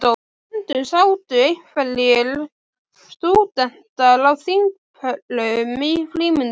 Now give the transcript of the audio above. Stundum sátu einhverjir stúdentar á þingpöllum í frímínútum.